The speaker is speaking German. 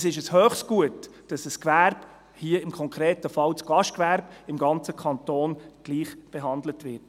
Es ist ein hohes Gut, dass ein Gewerbe, im konkreten Fall das Gastgewerbe, im ganzen Kanton gleichbehandelt wird.